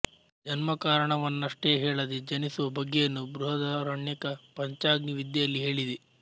ಜನ್ಮಕಾರಣವನ್ನಷ್ಟೇ ಹೇಳದೆ ಜನಿಸುವ ಬಗೆಯನ್ನು ಬೃಹದಾರಣ್ಯಕ ಪಂಚಾಗ್ನಿ ವಿದ್ಯೆಯಲ್ಲಿ ಹೇಳಿದೆ